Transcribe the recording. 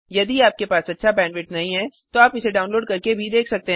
यदि आपके पास अच्छा बैंडविड्थ नहीं है तो आप इसे डाउनलोड करके देख सकते हैं